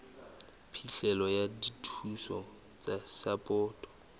phihlelo ya dithuso tsa sapoto